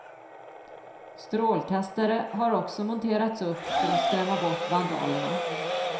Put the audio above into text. Strålkastare har också monterats upp för att skrämma bort vandalerna.